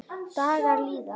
Dagar líða.